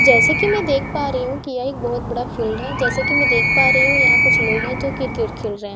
जैसे कि मैं देख पा रही हूं कि यह एक बहुत बड़ा फील्ड है जैसे कि मैं देख पा रही हूं यहां कुछ लोग है जो क्रिकेट खेल रे हें।